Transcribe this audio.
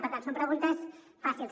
per tant són preguntes fàcils